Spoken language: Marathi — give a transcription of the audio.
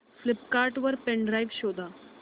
फ्लिपकार्ट वर पेन ड्राइव शोधा